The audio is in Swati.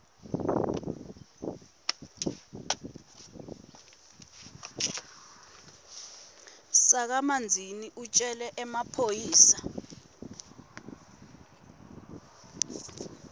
sakamanzini utjele emaphoyisa